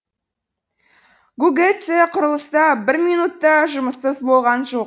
гугэцэ құрылыста бір минут та жұмыссыз болған жоқ